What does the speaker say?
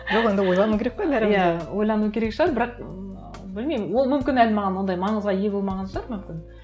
жоқ енді ойлану керек қой бәрібір де иә ойлану керек шығар бірақ ммм білмеймін ол мүмкін әлі маған ондай маңызға ие болмаған шығар мүмкін